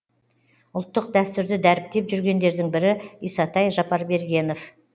ұлттық дәстүрді дәріптеп жүргендердің бірі исатай жапарбергенов